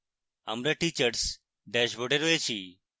আমরা teachers ড্যাশবোর্ডে রয়েছি